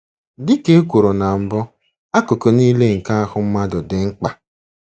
Dị ka e kwuru na mbụ, akụkụ nile nke ahụ mmadụ dị mkpa.